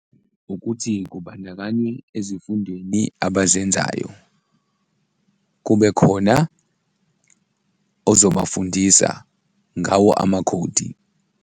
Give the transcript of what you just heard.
Ukuthi kubandakanye ezifundweni abazenzayo, kube khona ozobafundisa ngawo amakhodi.